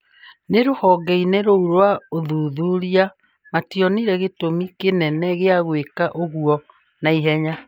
No rũhonge-inĩ rũu rwa ũthuthuria mationire gĩtumi kĩnene gĩa gwĩka ũguo na ihenya.